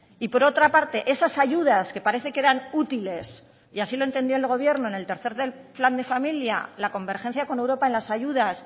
y por otra parte esas ayudas que parecen que eran útiles y así lo entendía el gobierno en el tercero plan de familia la convergencia con europa en las ayudas